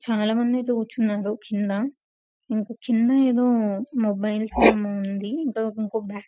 చాలా మంది అయితే కూర్చున్నారు కింద. ఇంక చిన్న ఏదో మొబైల్స్ అని ఏదో ఉంది. --